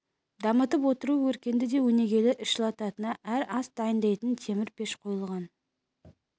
дамытып отыру өркенді де өнегелі іс жылытатын әрі ас дайындайтын темір пеш қойылған